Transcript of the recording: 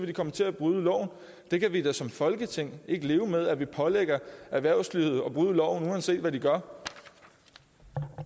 de komme til at bryde loven det kan vi da som folketing ikke leve med at vi pålægger erhvervslivet at bryde loven uanset hvad de gør